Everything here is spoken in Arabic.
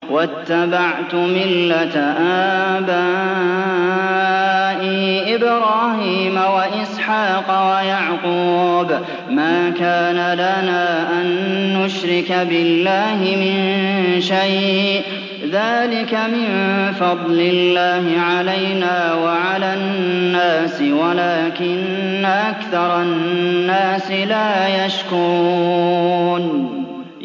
وَاتَّبَعْتُ مِلَّةَ آبَائِي إِبْرَاهِيمَ وَإِسْحَاقَ وَيَعْقُوبَ ۚ مَا كَانَ لَنَا أَن نُّشْرِكَ بِاللَّهِ مِن شَيْءٍ ۚ ذَٰلِكَ مِن فَضْلِ اللَّهِ عَلَيْنَا وَعَلَى النَّاسِ وَلَٰكِنَّ أَكْثَرَ النَّاسِ لَا يَشْكُرُونَ